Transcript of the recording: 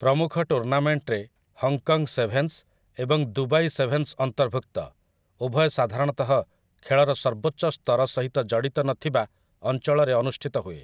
ପ୍ରମୁଖ ଟୁର୍ନାମେଣ୍ଟରେ Hong Kong sevens ଏବଂ ଦୁବାଇ ସେଭେନ୍ସ ଅନ୍ତର୍ଭୁକ୍ତ, ଉଭୟ ସାଧାରଣତଃ ଖେଳର ସର୍ବୋଚ୍ଚ ସ୍ତର ସହିତ ଜଡ଼ିତ ନଥିବା ଅଞ୍ଚଳରେ ଅନୁଷ୍ଠିତ ହୁଏ ।